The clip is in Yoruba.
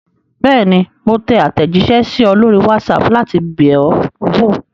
Bẹ́ẹ̀ni, mo tẹ àtẹ̀jíṣẹ́ sí ọ lórí WhatsApp láti bẹ̀ ọ́ wò.